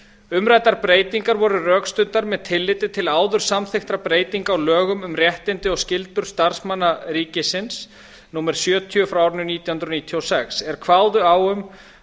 umræddar breytingar voru rökstuddar með tilliti til áður samþykktra breytinga á lögum um réttindi og skyldur starfsmanna ríkisins númer sjötíu nítján hundruð níutíu og sex er kváðu á um